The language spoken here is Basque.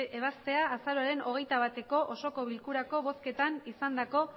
ebaztea azaroaren hogeita bateko osoko bilkurako bozketan izandako